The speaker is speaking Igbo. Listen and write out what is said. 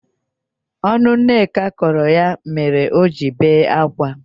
Ọnụ Nneka kọrọ ya mere oji bee akwa.